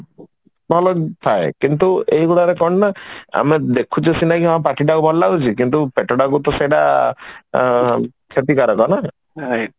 ଭଲ ଥାଏ କିନ୍ତୁ ଏଇଗୁଡାରେ କଣ ନା ଆମେ ଦେଖୁଛେ ସିନା କି ହଁ ପାଟିଟାକୁ ଭଲଲାଗୁଛି କିନ୍ତୁ ପେଟଟାକୁ ଟା ସେଇଟା ଆଁ କ୍ଷତିକାରକ ନା